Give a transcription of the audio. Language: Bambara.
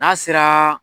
N'a sera